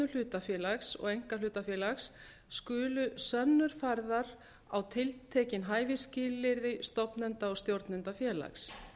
hlutafélags og einkahlutafélags skulu sönnur færðar á tiltekin hæfisskilyrði stofnenda og stjórnenda félags